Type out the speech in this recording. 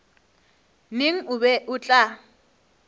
neng o be o tla